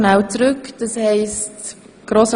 Eine Frage an Grossrat